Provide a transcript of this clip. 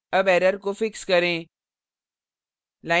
अब error को fix करें